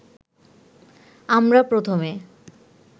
আমরা প্রথমে